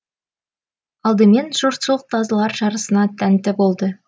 алдымен жұртшылық тазылар жарысына тәнті болды